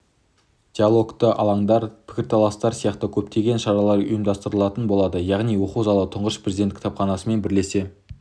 диалогтық алаңдар пікірталастар сияқты көптеген шаралар ұйымдастырылатын болады яғни оқу залы тұңғыш президент кітапханасымен бірлесе